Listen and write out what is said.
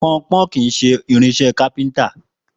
Pọnpọ́n kì í ṣe irinṣẹ́ kápẹ́ntà